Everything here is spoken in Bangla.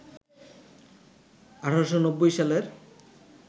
১৮৯০ সালের